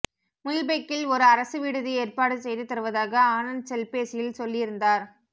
முல்பெக்கில் ஒரு அரசுவிடுதி ஏற்பாடு செய்து தருவதாக ஆனந்த் செல்பேசியில் சொல்லியிருந்தார்